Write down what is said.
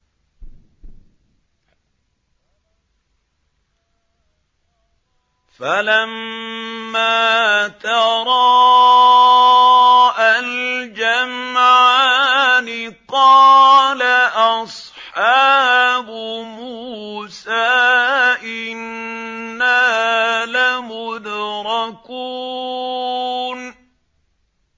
فَلَمَّا تَرَاءَى الْجَمْعَانِ قَالَ أَصْحَابُ مُوسَىٰ إِنَّا لَمُدْرَكُونَ